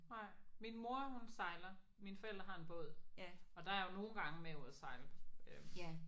Nej min mor hun sejler mine forældre har en båd og der er jeg jo nogle gange med ude og sejle